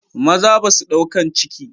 Maza basua ɗaukan ciki.